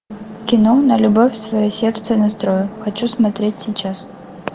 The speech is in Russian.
кино на любовь свое сердце настрою хочу смотреть сейчас